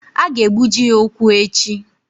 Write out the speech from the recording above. A ga-egbuji ya ụkwụ echi.